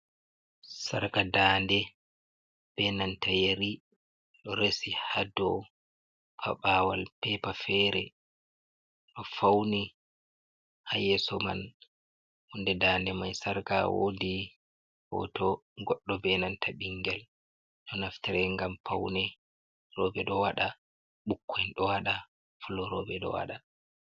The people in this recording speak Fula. Sarka dande be nanta yeri do resi ha do a bawal pepa fere do fauni ha yeso man hunde dande mai sarga wodi hoto goddo be nanta bingel ɗo naftare gam paunerobe do wada ɓukkoi do wada fulorobe do wada.